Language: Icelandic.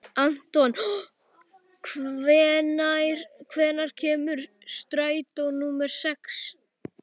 Anton, hvenær kemur strætó númer sex?